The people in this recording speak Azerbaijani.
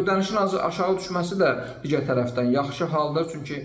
Ödənişin aşağı düşməsi də digər tərəfdən yaxşı haldır, çünki